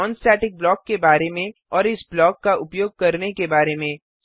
non static block के बारे में और इस ब्लॉक का उपयोग करने के बारे में